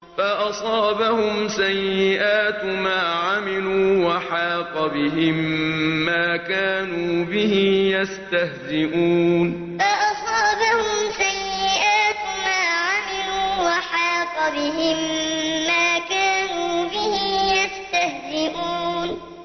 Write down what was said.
فَأَصَابَهُمْ سَيِّئَاتُ مَا عَمِلُوا وَحَاقَ بِهِم مَّا كَانُوا بِهِ يَسْتَهْزِئُونَ فَأَصَابَهُمْ سَيِّئَاتُ مَا عَمِلُوا وَحَاقَ بِهِم مَّا كَانُوا بِهِ يَسْتَهْزِئُونَ